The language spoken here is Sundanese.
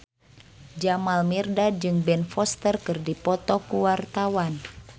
Jamal Mirdad jeung Ben Foster keur dipoto ku wartawan